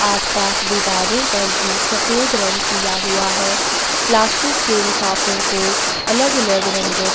आसपास दीवारों पर भी सफ़ेद रंग किया हुआ है प्लास्टिक की लिफाफों को अलग -अलग रंगो से --